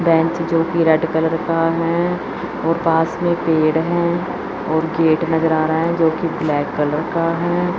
Bench चौकी red colour का है और पास मे पेड़ है और गेट नजर आ रहा है जोकि ब्लैक कलर का है।